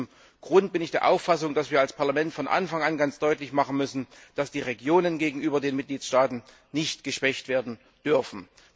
Aus diesem Grund bin ich der Auffassung, dass wir als Parlament von Anfang an ganz deutlich machen müssen, dass die Regionen gegenüber den Mitgliedstaaten nicht geschwächt werden dürfen.